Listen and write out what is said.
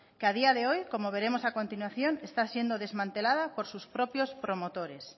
que a día de hoy como veremos a continuación está siendo desmantelada por sus propios promotores